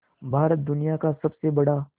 भारत दुनिया का सबसे बड़ा